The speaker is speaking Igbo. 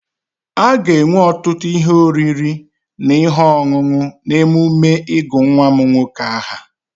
A ga-enwe ọtụtụ ihe oriri na ihe ọṅụṅụ n'emume ịgụ nwa m nwoke aha.